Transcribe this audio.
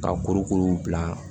Ka kuru kuru bila